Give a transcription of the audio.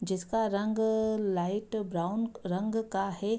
जिसका रंग light brown रंग का है।